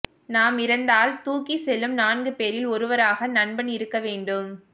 நாம் இறந்தால் தூக்கிச் செல்லும் நான்கு பேரில் ஒருவராக நண்பன் இருக்க வேண்டும்